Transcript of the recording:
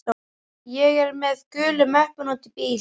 Ég er með gulu möppuna úti í bíl.